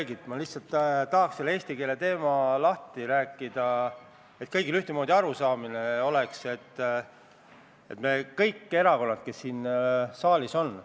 Nii et tegelikult vastutab ikkagi tinglikult Elron, aga Elroni rongides ei ole toitlustamise võimalust ja selle loomine Elroni rongides nõuab üsna suurt lisakulu.